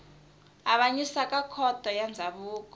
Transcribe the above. avanyisa ka khoto ya ndzhavuko